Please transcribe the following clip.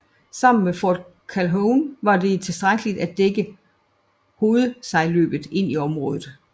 Sammen med Fort Calhoun var det tilstrækkeligt til at dække hovedsejlløbet ind i området